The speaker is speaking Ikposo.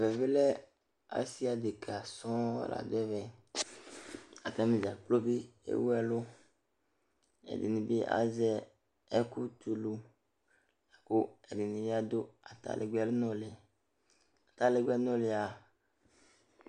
Ɛmɛ bɩ lɛ, asɩ adekǝ sɔŋ la dʋ ɛvɛ Atanɩ dza kplo bɩ ewu ɛlʋ Ɛdɩnɩ bɩ azɛ ɛkʋtɛ ulu la kʋ ɛdɩnɩ bɩ adʋ atalɛgbɛnʋlɩ Atalɛgbɛnʋlɩ a,